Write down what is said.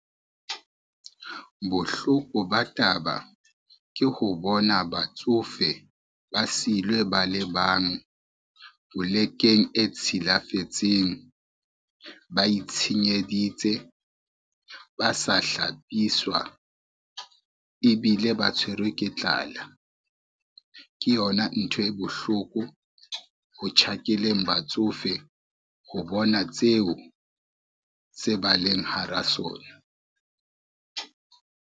Bohloko ba taba ke ho bona batsofe ba silwe ba le bang polekeng e tshilafetseng, ba itshenyeditse, ba sa hlapiswa ebile ba tshwerwe ke tlala. Ke yona ntho e bohloko ho tjhakeleng batsofe ho bona tseo se ba leng hara sona.